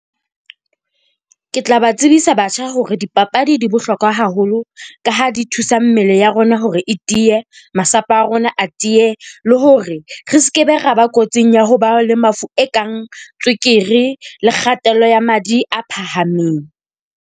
Ke tla ba tsebisa batjha hore dipapadi di bohlokwa haholo ka ha di thusa mmele ya rona hore e tiye, masapo a rona a tiye. Le hore re se ke be ra ba kotsing ya ho ba le mafu e kang tswekere le kgatello ya madi a phahameng.